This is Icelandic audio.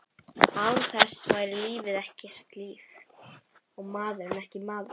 Án þess væri lífið ekki líf, og maðurinn ekki maður.